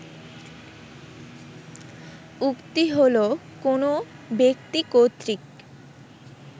উক্তি হল কোন ব্যক্তি কর্তৃক